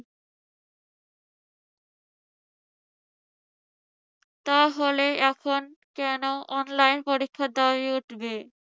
তাহলে কন এখন online পরীক্ষার দাবি উঠবে?